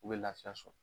U bɛ lafiya sɔrɔ